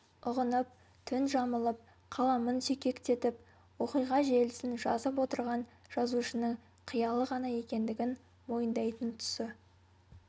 ұғынып түн жамылып қаламын сүйкектетіп оқиға желісін жазып отырған жазушының қиялы ғана екендігін мойындайтын тұсы